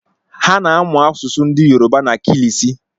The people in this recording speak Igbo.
Ha na-amụ asụsụ ndi Yourba na kilisi